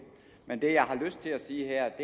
men det jeg har lyst til at sige